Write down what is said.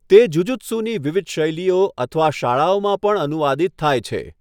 તે જુજુત્સુની વિવિધ શૈલીઓ અથવા શાળાઓમાં પણ અનુવાદિત થાય છે.